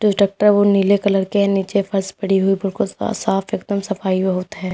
Tractor ओ नीले colour के है नीचे फर्श पड़ी हुई बिल्कुल साफ एकदम सफाई बहोत है।